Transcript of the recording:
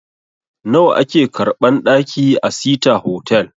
Nawa a ke karɓan ɗaki a sita hotal?